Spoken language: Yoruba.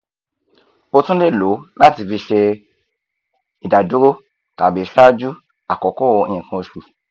o tun le lo lati fi se idaduro tabi ṣaju akoko nkan osu